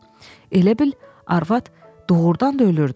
Elə bil arvad doğurdan da ölürdü